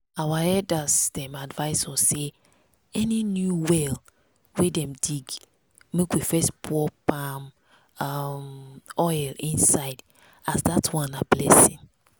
our elders dem advise us say any new well wey dem dig make we first pour palm um oil inside as that one na blessing.